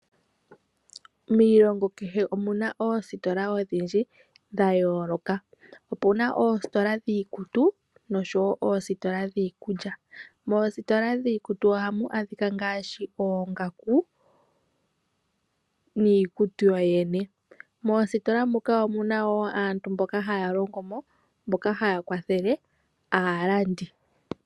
Miilongo kehe omuna oostola odhindji dhayooloka .opuna oostola dhiikutu nodhiikulya .moostola dhiikutu ohamu adhika ngaashi oongaku niikutu yoyene moostola muka omuna woo aantu mboka haya longo mo ,mboka haakwathela aalandi